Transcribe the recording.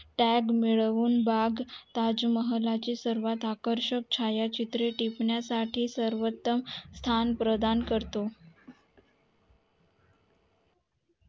tag मिळवून बाग ताज महाल ची सर्वात आकर्षक छाया चित्रे टिपण्या साठी सर्वंतम स्थान प्रधान करते